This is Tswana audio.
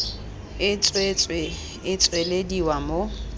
e tswetswe e tswelediwa mo